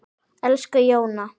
Elsku Jóna.